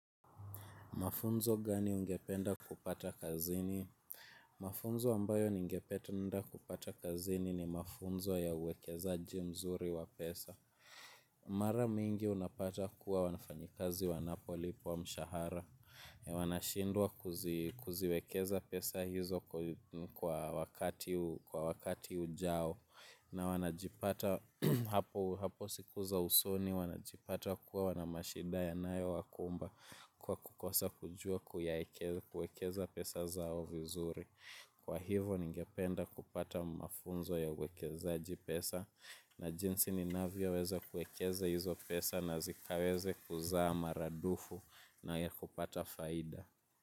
Mafunzo gani ungependa kupata kazini? Mafunzo ambayo ningependa kupata kazini ni mafunzo ya uwekezaji mzuri wa pesa. Mara mingi unapata kuwa wafanyikazi wanapo lipwa mshahara. Wanashindwa kuziwekeza pesa hizo kwa wakati ujao. Na wanajipata hapo siku za usoni wanajipata kuwa wana mashida yanayo wakumba kwa kukosa kujua kuwekeza pesa zao vizuri. Kwa hivo ningependa kupata mafunzo ya uwekezaji pesa na jinsi ninavyo weza kuekeza hizo pesa na zikaweze kuzaa maradufu na ya kupata faida.